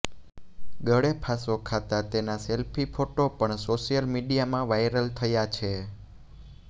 ગળે ફાંસો ખાતા તેના સેલ્ફી ફોટો પણ સોશિયલ મિડીયામાં વાયરલ થયા છે